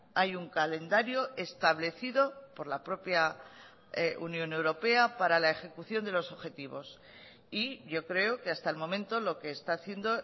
hay un calendario establecido por la propia unión europea para la ejecución de los objetivos y yo creo que hasta el momento lo que está haciendo